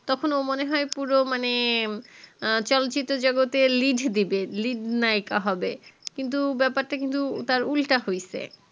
তখন মনে হয় ও পুরো মানে চল চিত্র জগতে lead দিবে lead নায়েক হবে কিন্তু তা বেপার টা কিন্তু তার উল্টা হৈছে